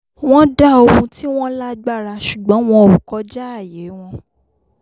wọ́n dá ohun tí wọ́n lágbára sùgbọ́n wọn ò kọjáàyè wọn